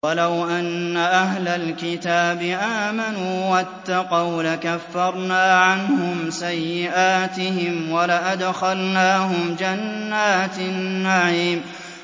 وَلَوْ أَنَّ أَهْلَ الْكِتَابِ آمَنُوا وَاتَّقَوْا لَكَفَّرْنَا عَنْهُمْ سَيِّئَاتِهِمْ وَلَأَدْخَلْنَاهُمْ جَنَّاتِ النَّعِيمِ